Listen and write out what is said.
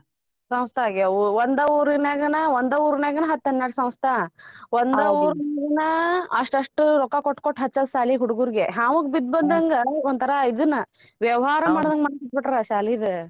ಸಂಸ್ತ ಆಗ್ಯವೂ ಒಂದ್ ಊರಿನ್ಯಗನ ಒಂದ್ ಊರಿನ್ಯಗನ ಹತ್ತ ಹನ್ನೆರಡು ಸಂಸ್ತ ಒಂದ ಊರ್ನ್ಯಾಗೆನಾ ಅಷ್ಟಷ್ಟು ರೊಕ್ಕ ಕೊಟ್ ಕೊಟ್ ಹಚ್ಚೋದ್ ಸಾಲಿಗ ಹುಡ್ಗುರ್ಗೆ ಹ್ಯಾವಗ್ ಬಿದ್ದಂಗ ಒಂತರಾ ಇದುನ್ನ ವ್ಯವಹಾರ ಮಡಾಕತ್ಬಿಟ್ಟಿದರ ಶಾಲೀದ.